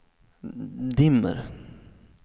dimmer